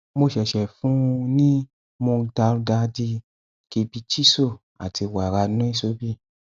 mo ṣẹṣẹ fún un un ní moong dal daldi khibichiso àti wàrà nuisobi